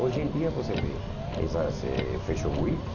Hoje em dia, você vê essas eh Fashion Week.